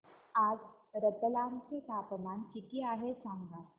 आज रतलाम चे तापमान किती आहे सांगा